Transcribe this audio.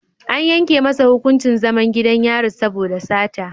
An yanke masa hukuncin zaman gidan yari saboda sata.